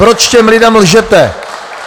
Proč těm lidem lžete?